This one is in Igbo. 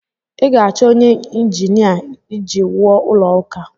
ị ga-achọ onye ịnjinia iji wuo ụlọ ụka